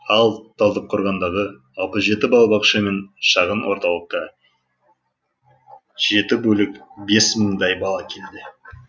ал талдықорғандағы алпыс жеті балабақша мен шағын орталыққа жеті бөлік бес мыңдай бала келеді